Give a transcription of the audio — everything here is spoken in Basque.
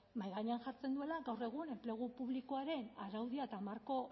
mahai gainean jartzen duela gaur egun enplegu publikoaren araudia eta marko